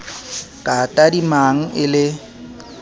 ka a tadimang e le